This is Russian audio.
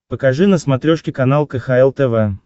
покажи на смотрешке канал кхл тв